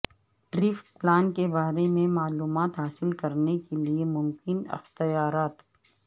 tariff plan کے بارے میں معلومات حاصل کرنے کے لئے ممکن اختیارات